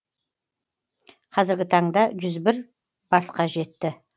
қазіргі таңда басқа жетті